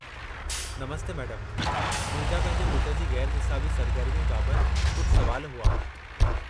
नमस्ते madam, मुंहिंजा पंहिंजे पुटु जी ग़ैरु निसाबी सरगर्मीअ बाबति कुझु सुवाल हुआ।